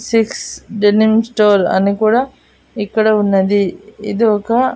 six dining store అని కూడా ఇక్కడ ఉన్నది ఇది ఒక--